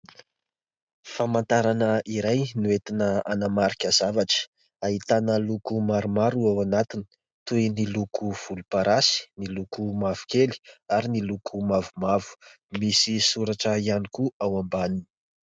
Famantarana iray no entina hanamarika zavatra. Ahitana loko maromaro ao anatiny toy ny loko volomparasy, ny loko mavokely ary ny loko mavomavo. Misy soratra ihany koa ao ambaniny.